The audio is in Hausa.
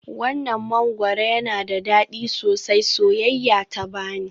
Wannan mangwaro yana da dadi sosai, soyayya ta bani.